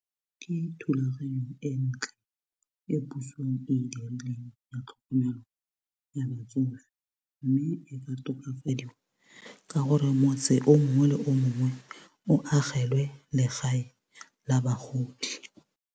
Ke thulaganyo e ntle e puso e dileng ya tlhokomelo ya batsofe mme e ka tokafadiwa ka gore motse o mongwe le o mongwe o agelwe legae la bagodi.